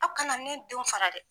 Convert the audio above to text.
Aw kana ne denw fara dɛ.